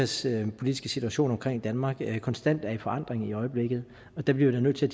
sikkerhedspolitiske situation omkring danmark konstant er i forandring i øjeblikket og der bliver vi nødt til